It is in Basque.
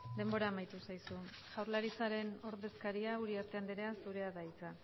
denbora amaitu zaizu jaurlaritzaren ordezkaria den uriarte andrea zurea da hitza